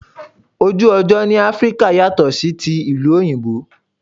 Ojú ọjọ́ ni Áfríkà yàtò sí ti ìlú òyìnbó.